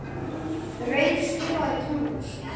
Reyr, spilaðu tónlist.